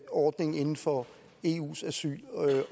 ordning inden for eus asyl